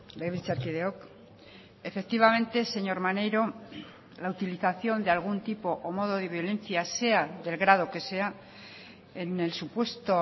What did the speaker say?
legebiltzarkideok efectivamente señor maneiro la utilización de algún tipo o modo de violencia sea del grado que sea en el supuesto